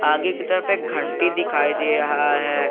आगे की तरफ एक घंटी दिखाई दे रहा है।